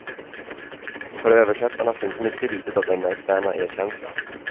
För översättarna finns mycket litet av denna externa erkänsla.